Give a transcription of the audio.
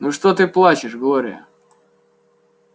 ну что ты плачешь глория